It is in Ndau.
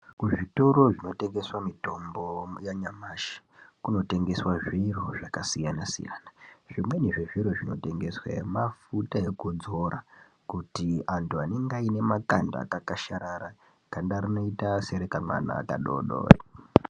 Kuzvitoro zvinotengese mutombo munanyamashi kunotengeswe zviro zvakasiyana siyana. Zvimweni zvezviro zvinotengesweyo mafuta ekudzora kuti antu anenge aine akaenda akakashara ganda rinoite senge rekamwana kadodori.